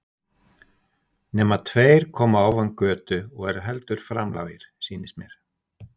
Nema tveir koma ofan götu og eru heldur framlágir, sýnist mér.